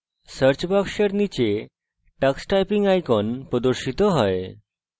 search box নীচে tux typing icon প্রদর্শিত হয়